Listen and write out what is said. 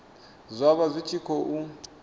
zwa vha zwi tshi khou